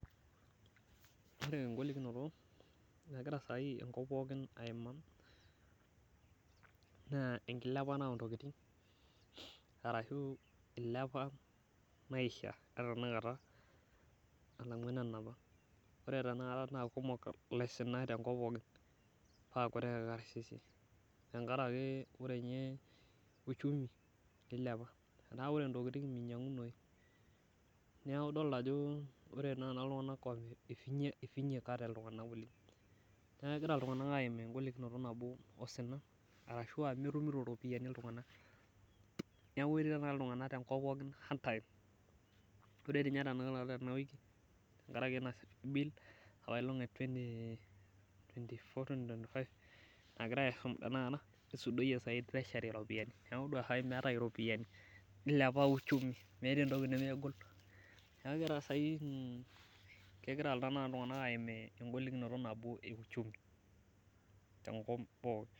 Ore engolikinoto nagira saai enkop pookin aimaa naa ekilepata ontokiting ashu eilepa maisha etanakata alangu enapa kata. Ore tenakata naa kumok laisinak tenkop tenkop pookin naa kutik irkarsisi tenkaraki ore ninye uchumi eilepa. Etaa ore ninye ntokiting meinyangunoyu. Neeku na idol ajo eifinyikate iltunganak oleng .Neeku kegira ltunganak aimaa engolikinoto nabo osina ashua metumito ropiyiani iltunganak. Neeku etii tenakata iltunganak tenakop pookin hard time. Ore ninye tenakata tenkaraki ena bill, ee twenty twenty four twenty twenty five nagirae aisum tenakata esudoyie tresury ropiyiani ,neeku todua saai meetae ropiyiani nilepa uchumi. Meeta entoki nemegol neeku kegira tenakata iltunganak pookin aimaa engolikinoto euchumi tenkop pookin.